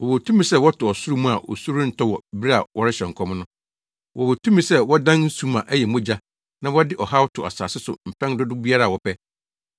Wɔwɔ tumi sɛ wɔto ɔsoro mu a osu rentɔ wɔ bere a wɔrehyɛ nkɔm no. Wɔwɔ tumi sɛ wɔdan nsu ma ɛyɛ mogya na wɔde ɔhaw to asase so mpɛn dodow biara a wɔpɛ.